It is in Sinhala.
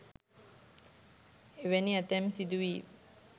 එවැනි ඇතැම් සිදුවීම්